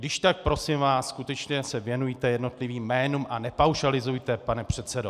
Když tak prosím vás skutečně se věnujte jednotlivým jménům a nepaušalizujte, pane předsedo.